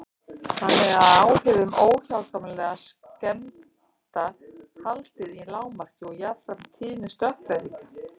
Þannig er áhrifum óhjákvæmilegra skemmda haldið í lágmarki og jafnframt tíðni stökkbreytinga.